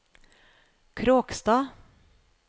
Kråkstad